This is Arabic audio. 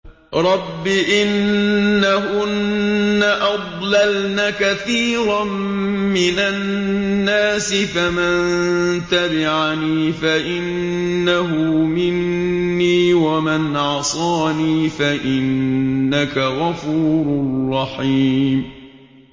رَبِّ إِنَّهُنَّ أَضْلَلْنَ كَثِيرًا مِّنَ النَّاسِ ۖ فَمَن تَبِعَنِي فَإِنَّهُ مِنِّي ۖ وَمَنْ عَصَانِي فَإِنَّكَ غَفُورٌ رَّحِيمٌ